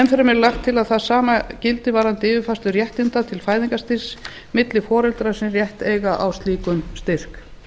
fremur er lagt til að það sama gildi varðandi yfirfærslu réttinda til fæðingarstyrks milli foreldra sem rétt eiga á slíkum styrk